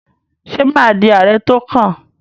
Ṣé mà á di ààrẹ tó kàn?